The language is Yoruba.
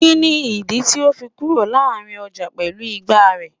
Kini idi ti o fi duro larin ọja pẹlu ìgbá rẹ?